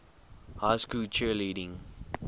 high school cheerleading